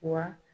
Wa